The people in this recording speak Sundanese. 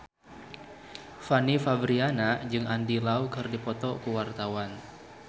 Fanny Fabriana jeung Andy Lau keur dipoto ku wartawan